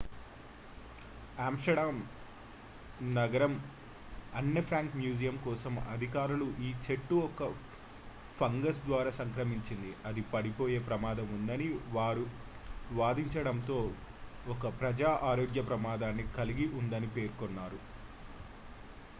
Amsterdam నగరం Anne Frank museum కోసం అధికారులు ఈ చెట్టు ఒక ఫంగస్ ద్వారా సంక్రమించింది అది పడిపోయే ప్రమాదం ఉందని వారు వాదించడంతో ఒక ప్రజా ఆరోగ్య ప్రమాదాన్ని కలిగి ఉందని పేర్కొన్నారు